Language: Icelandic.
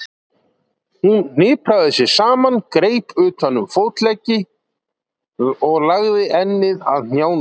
Hún hnipraði sig saman, greip utan um fótleggina og lagði ennið að hnjánum.